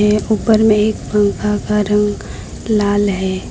एक ऊपर में एक पंखा का रंग लाल है।